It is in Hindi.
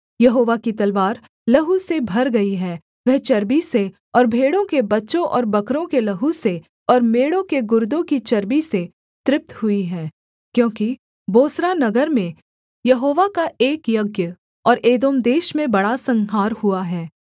यहोवा की तलवार लहू से भर गई है वह चर्बी से और भेड़ों के बच्चों और बकरों के लहू से और मेढ़ों के गुर्दों की चर्बी से तृप्त हुई है क्योंकि बोस्रा नगर में यहोवा का एक यज्ञ और एदोम देश में बड़ा संहार हुआ है